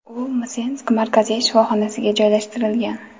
U Msensk markaziy shifoxonasiga joylashtirilgan.